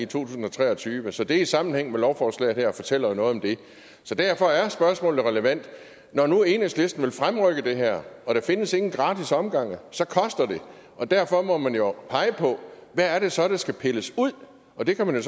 tusind og tre og tyve og det set i sammenhæng med lovforslaget her fortæller noget om det så derfor er spørgsmålet relevant når nu enhedslisten vil fremrykke det her og der findes ingen gratis omgange så koster det og derfor må man jo pege på hvad det så er der skal pilles ud og det kan man jo